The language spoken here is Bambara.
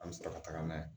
An bɛ sɔrɔ ka taga n'a ye